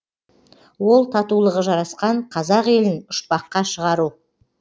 ол татулығы жарасқан қазақ елін ұшпаққа шығару